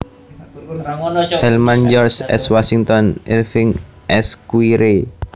Hellman George S Washington Irving Esquire